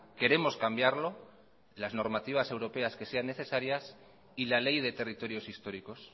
queremos cambiarlo las normativas europeas que sean necesarias y la ley de territorios históricos